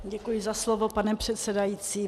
Děkuji za slovo, pane předsedající.